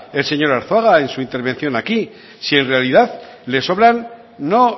el señor arzuaga en su intervención aquí si en realidad le sobran no